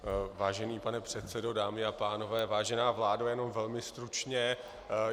Vážený pane předsedo, dámy a pánové, vážená vládo, jenom velmi stručně.